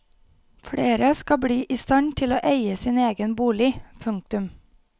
Flere skal bli i stand til å eie sin egen bolig. punktum